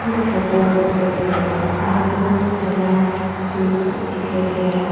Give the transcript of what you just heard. एक होतेल दिखाई दे रहे हैं वहां पे बहोत सराफ स्वीट्स दिखाई दे रहा --